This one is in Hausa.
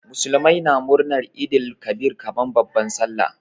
Muslimai na murnar Eid el Kabir kaman babban sallah.